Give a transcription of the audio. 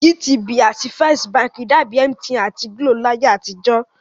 GTB àti First Bank dàbi MTN àti GLO láyé àtijọ́